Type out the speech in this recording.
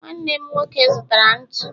nwanne nwoke zụtara ntụ